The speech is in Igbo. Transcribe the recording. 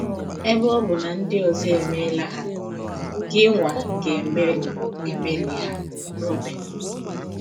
Ebe ọ bụ na ndị ọzọ emeela ha, gịnwa ga - emeli - emeli ha. ”— Roben.